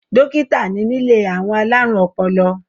Dó̩kítà ni nílé àwọn alárùn ọpọlọ